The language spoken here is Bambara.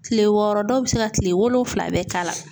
Kile wɔɔrɔ dɔw bi se ka kile wolonfila bɛɛ k'a la.